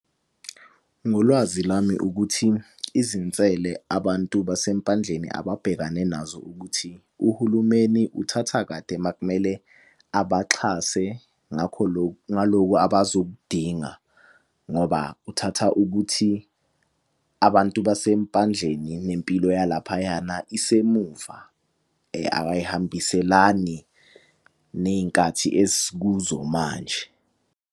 Ngolwazi lami ukuthi, izinsele abantu basempandleni ababhekane nazo ukuthi, uhulumeni uthatha kade makumele abaxhase ngakho loku, ngaloku abazokudinga. Ngoba kuthatha ukuthi abantu basempandleni nempilo yalaphayana isemuva ayihambiselani ney'nkathi esikuzo manje.